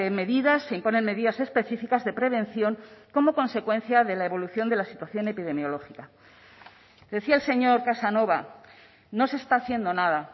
medidas se imponen medidas específicas de prevención como consecuencia de la evolución de la situación epidemiológica decía el señor casanova no se está haciendo nada